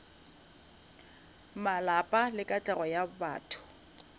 malapa le katlego ya batho